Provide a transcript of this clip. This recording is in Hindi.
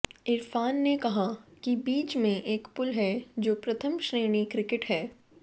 इरफान ने कहा कि बीच में एक पुल है जो प्रथम श्रेणी क्रिकेट है